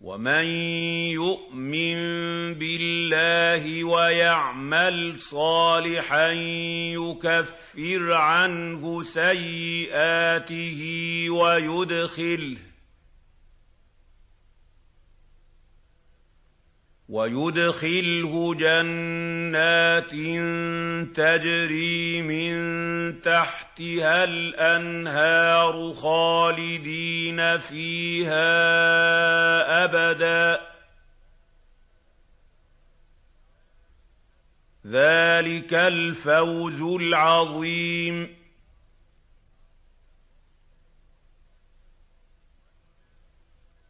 وَمَن يُؤْمِن بِاللَّهِ وَيَعْمَلْ صَالِحًا يُكَفِّرْ عَنْهُ سَيِّئَاتِهِ وَيُدْخِلْهُ جَنَّاتٍ تَجْرِي مِن تَحْتِهَا الْأَنْهَارُ خَالِدِينَ فِيهَا أَبَدًا ۚ ذَٰلِكَ الْفَوْزُ الْعَظِيمُ